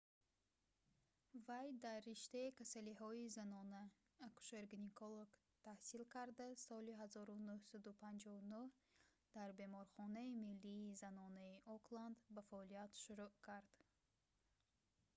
вай дар риштаи касалиҳои занона акушер‑гинеколог таҳсил карда аз соли 1959 дар беморхонаи миллии занонаи окланд ба фаъолият шурӯъ кард